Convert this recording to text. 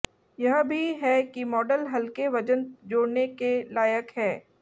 यह भी है कि मॉडल हल्के वजन जोड़ने के लायक है